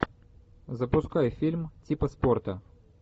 запускай фильм типа спорта